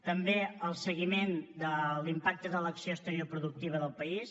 també el seguiment de l’impacte de l’acció exterior productiva del país